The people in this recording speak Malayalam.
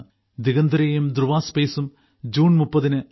ദിഗന്തരയും ധ്രുവ സ്പേസും ജൂൺ 30 ന് ഐ